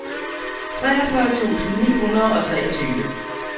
treogfyrre tusind ni hundrede og treogtyve